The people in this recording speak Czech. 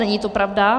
Není to pravda.